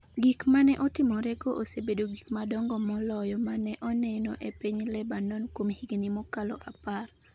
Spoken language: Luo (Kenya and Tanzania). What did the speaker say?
Gik ma ne otimorego osebedo gik madongo moloyo ma ne oneno e piny Lebanon kuom higni mokalo apar.